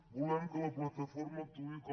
volem que la plataforma actuï com